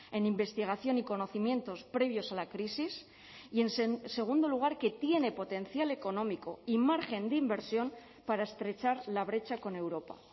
en investigación y conocimientos previos a la crisis y en segundo lugar que tiene potencial económico y margen de inversión para estrechar la brecha con europa